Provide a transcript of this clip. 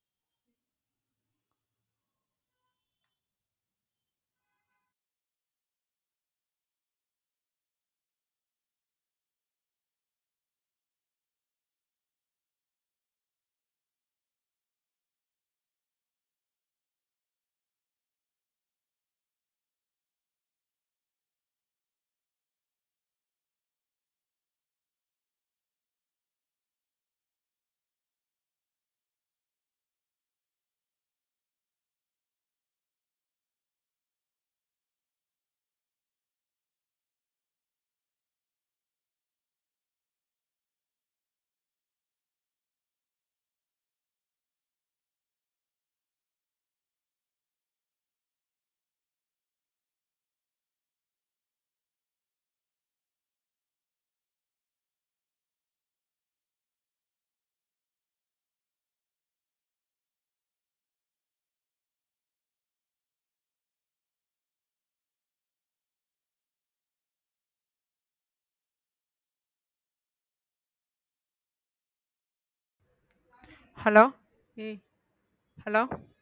hello hello